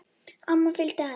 Amma fylgdi henni.